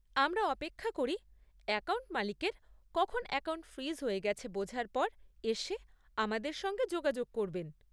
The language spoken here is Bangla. আমরা অপেক্ষা করি অ্যাকাউন্ট মালিকের কখন অ্যাকাউন্ট ফ্রিজ হয়ে গেছে বোঝার পর এসে আমাদের সঙ্গে যোগাযোগ করবেন।